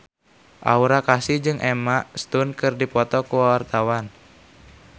Aura Kasih jeung Emma Stone keur dipoto ku wartawan